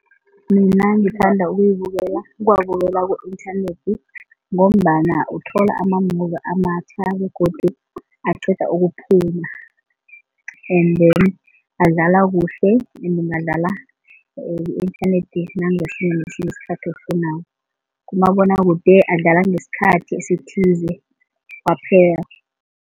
Mina ngithanda ukuyibekela ukuwabukela ku-inthanethi ngombana uthola ama-movie amatjha begodu aqeda ukuphuma and then adlala kuhle adlala ku-inthanethi nangesinye nesinye isikhathi ofunako, kumabonwakude adlala ngesikhathi esithize kwaphela.